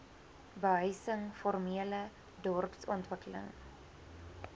behuising formele dorpsontwikkeling